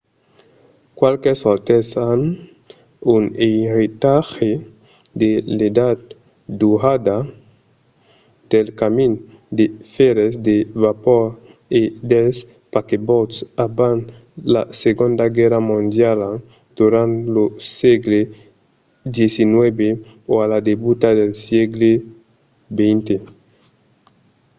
qualques otèls an un eiretatge de l'edat daurada del camin de fèrre de vapor e dels paquebòts; abans la segonda guèrra mondiala durant lo sègle xix o a la debuta del sègle xx